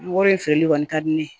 Wari in feereli kɔni ka di ne ye